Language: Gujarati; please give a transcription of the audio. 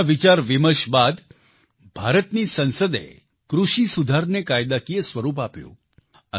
ઘણા વિચારવિમર્શ બાદ ભારતની સંસદે કૃષિ સુધાર ને કાયદાકીય સ્વરૂપ આપ્યું